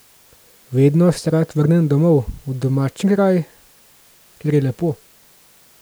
Vedno se rad vrnem domov, v domači kraj, kjer je lepo.